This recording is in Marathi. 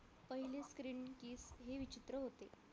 पहिले screen ही विचित्र होते